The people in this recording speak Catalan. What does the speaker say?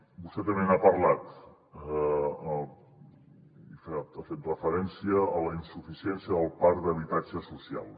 vostè també n’ha parlat ha fet referència a la insuficiència del parc d’habitatge social